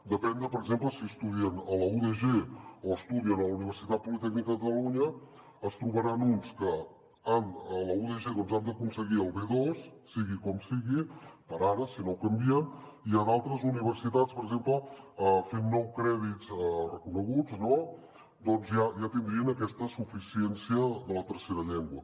depenent de per exemple si estudien a la udg o estudien a la universitat politècnica de catalu nya es trobaran uns que a la udg han d’aconseguir el b2 sigui com sigui per ara si no ho canvien i a d’altres universitats per exemple fent nou crèdits reconeguts ja tindrien aquesta suficiència de la tercera llengua